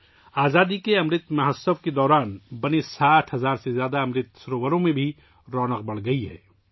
'آزادی کا امرت مہوتسو' کے دوران بنائے گئے 60 ہزار سے زیادہ امرت سرووروں میں بھی رونق بڑھ گئی ہے